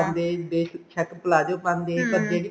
ਬੇਸ਼ੱਕ palazzo ਪਾਂਦੇ ਪਰ ਜਿਹੜੀ